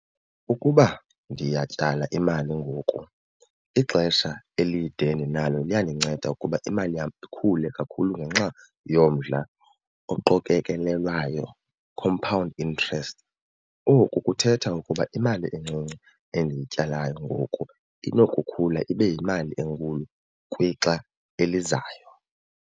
Ukuba ndiyatyala imali ngoku ixesha elide endinalo liyandinceda ukuba imali yam ikhule kakhulu ngenxa yomdla oqokekelelwayo, compound interest. Oku kuthetha ukuba imali encinci endiyityalayo ngoku inokukhula ibe yimali enkulu kwixa elizayo.